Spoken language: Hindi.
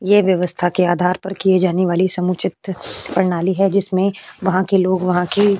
ये व्यवस्था के आधार पर किये जाने वाली समुचित प्रणाली है। जिसमें वहाँ के लोग वहाँ की --